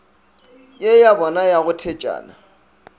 ye yabona ya go thetšana